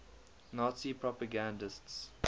nazi propagandists